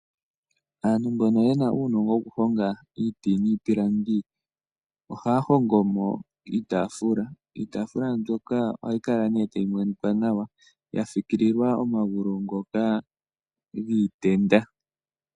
Aantu mbono ye na uunongo wokuhonga iiti niipilangi ohaya hongo mo iitafula. Iitafula mboka ohayi kala nee tayi monikwa nawa, ya fikililwa omagulu ngoka giitenda.